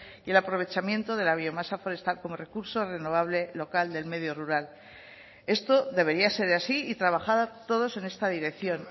y el aprovechamiento de la biomasa forestal como recurso renovable local del medio rural esto debería ser así y trabajar todos en esta dirección